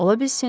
Ola bilsin.